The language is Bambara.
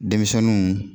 Denmisɛnninw